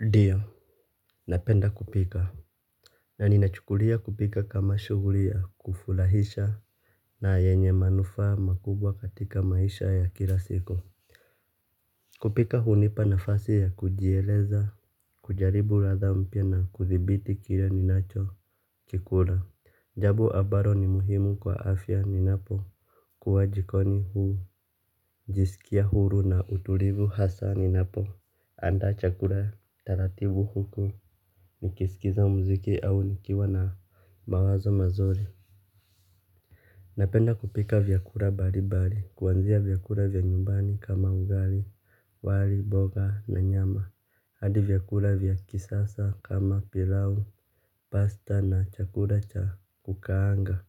Ndiyo. Napenda kupika. Na ninachukulia kupika kama shuguli ya kufulahisha na yenye manufaa makubwa katika maisha ya kila siku. Kupika hunipa nafasi ya kujieleza. Kujaribu latha mpya na kudhibiti kile ninacho Kikula. Jabo abalo ni muhimu kwa afya ninapo kuwa jikoni huu. Jisikia huru na utulivu hasa ninapo andaa chakula taratibu huko. Nikisikiza mziki au nikiwa na mawazo mazuri. Napenda kupika vyakula balibali. Kuanzia vyakula vya nyumbani kama ugali wali, boga na nyama hadi vyakula vya kisasa kama pilau, pasta na chakula cha kukaanga.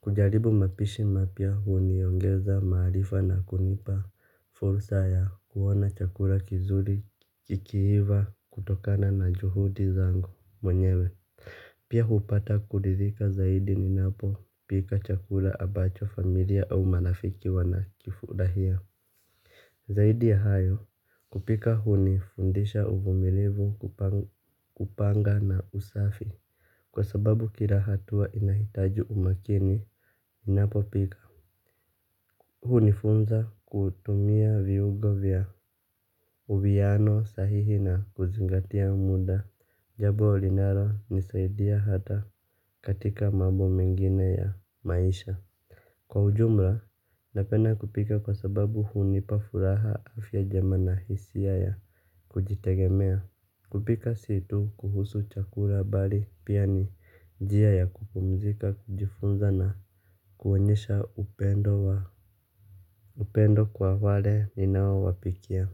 Kujaribu mapishi mapya huniongeza maarifa na kunipa fursa ya kuona chakula kizuri kikiiva kutokana na juhudi zangu mwenyewe. Pia hupata kulidhika zaidi ninapo pika chakula abacho familia au marafiki wana kifurahia. Zaidi ya hayo kupika hunifundisha uvumilivu kupanga na usafi. Kwa sababu kila hatua inahitaji umakini ninapo pika. Hunifunza kutumia viungo vya uwiano sahihi na kuzingatia muda. Jabo linalo nisaidia hata katika mambo mengine ya maisha. Kwa ujumla, napenda kupika kwa sababu hunipa furaha afya jema na hisia ya kujitegemea. Kupika si tu kuhusu chakula bali pia ni jia ya kupumzika kujifunza na kuonyesha upendo kwa wale ninao wapikia.